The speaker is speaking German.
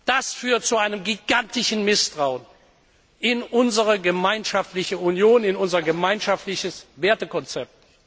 Das führt zu einem gigantischen Misstrauen in unsere gemeinschaftliche Union und in unser gemeinschaftliches Wertekonzept.